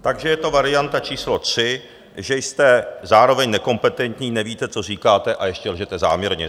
Takže je to varianta číslo tři, že jste zároveň nekompetentní, nevíte, co říkáte, a ještě lžete záměrně.